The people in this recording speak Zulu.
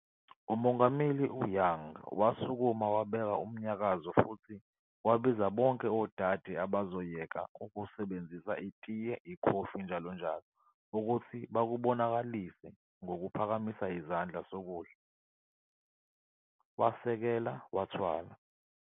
UMongameli Young wasukuma wabeka umnyakazo futhi wabiza bonke odade abazoyeka ukusebenzisa itiye, ikhofi, andc., ukuthi bakubonakalise ngokuphakamisa isandla sokudla, wasekela wathwala.